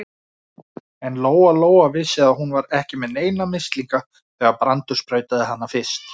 En Lóa-Lóa vissi að hún var ekki með neina mislinga þegar Brandur sprautaði hana fyrst.